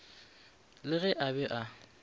le ge a be a